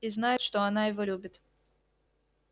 и знает что и она любит его